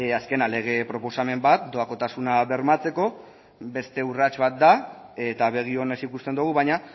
azkena lege proposamen bat doakotasuna bermatzeko beste urrats bat da eta begi onez ikusten dugu baina